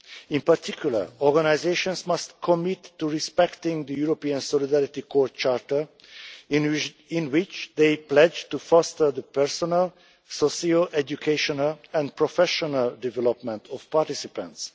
In particular, organisations must commit to respecting the European Solidarity Corps Charter in which they pledge to foster the personal, socio educational and professional development of participants